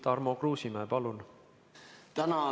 Tarmo Kruusimäe, palun!